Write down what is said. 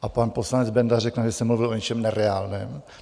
A pan poslanec Benda řekne, že jsem mluvil o něčem nereálném?